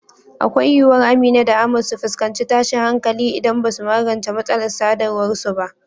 Akwai yiwuwar Amina da Ahmad su fuskanci tashin hankali idan ba su magance matsalar sadarwar su ba.